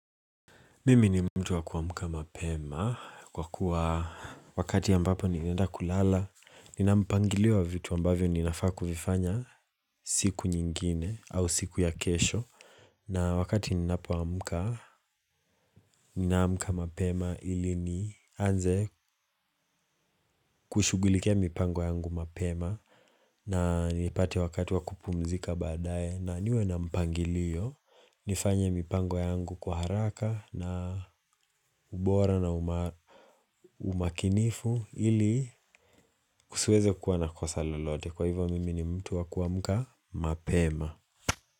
Mimi ni mtu wa kuamuka mapema kwa kuwa wakati ambapo nimeenda kulala Ninampangiliwa vitu ambavyo ninafaa kufifanya siku nyingine au siku ya kesho na wakati ninapoamka, ninamka mapema ili ni anze kushugulikia mipango yangu mapema na nipate wakati wangu wakupumzika badaye na niwe na mpangilio nifanye mipango yangu kwa haraka na ubora na umakinifu ili kusiweze kuwa na kosalolote kwa hivyo mimi ni mtu wakuamka mapema.